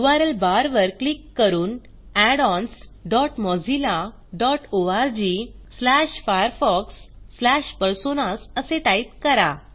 URL bar वर click करून addons dot Mozilla dot org slash Firefox slash personas असे type करा